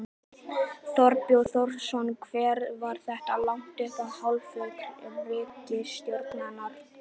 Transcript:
Þorbjörn Þórðarson: Hvernig var þetta lagt upp af hálfu ríkisstjórnarinnar?